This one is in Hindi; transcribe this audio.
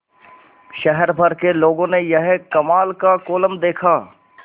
शहर भर के लोगों ने यह कमाल का कोलम देखा